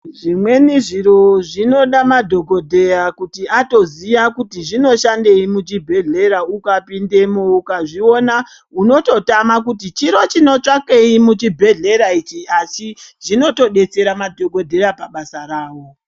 Zvimweni zviro zvinoda madhokodheya kuti atoziya kuti zvinoshandei muzvibhedhlera ukapindamo ukazviona unototama kuti chiro chinotsvakei muzvibhedhlera ichi achi zvinotodetsera madhokodheya pabasa rawo.